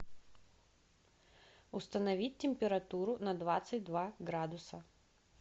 установить температуру на двадцать два градуса